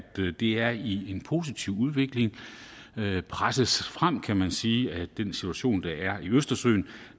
det er i en positiv udvikling presset frem kan man sige af den situation der er i østersøen